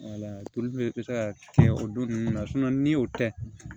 bɛ se ka kɛ o don ninnu na ni y'o kɛ